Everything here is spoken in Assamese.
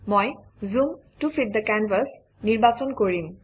মই zoom to fit the canvas নিৰ্বাচন কৰিম